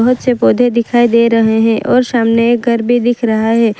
पीछे पौधे दिखाई दे रहे हैं और सामने एक घर भी दिख रहा है।